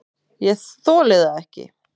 ÉG ÞOLI ÞAÐ EKKI!